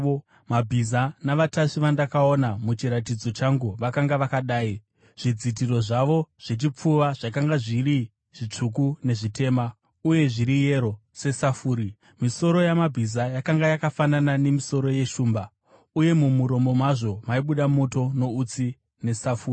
Mabhiza navatasvi vandakaona muchiratidzo changu vakanga vakadai: Zvidzitiro zvavo zvechipfuva zvakanga zviri zvitsvuku, nezvitema, uye zviri yero sesafuri. Misoro yamabhiza yakanga yakafanana nemisoro yeshumba, uye mumuromo mazvo maibuda moto, noutsi nesafuri.